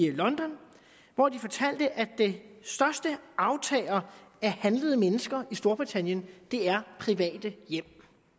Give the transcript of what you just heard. i london hvor de fortalte at den største aftager af handlede mennesker i storbritannien er private hjem